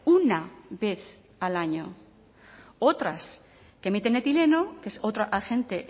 una vez al año otras que emiten etileno que es otro agente